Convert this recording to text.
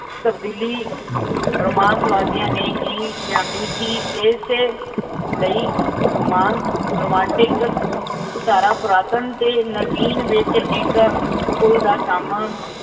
ਤਬਦੀਲੀ ਰੋਮਾਂਸਵਾਦੀਆ ਨੇ ਹੀ ਲਿਆਂਦੀ ਸੀ। ਏਸੇ ਲਈ ਰੋਮਾਂਸ, ਰੋਮਾਂਟਿਕ ਧਾਰਾ ਪੁਰਾਤਨ ਤੇ ਨਵੀਨ ਵਿਚ ਇੱਕ ਪੁਲ ਦਾ ਕੰਮ